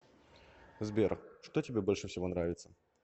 сбер что тебе больше всего нравится